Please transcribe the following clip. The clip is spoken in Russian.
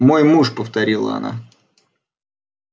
мой муж повторила она